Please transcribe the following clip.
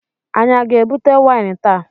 Anyị a ga-ebute waịn taa?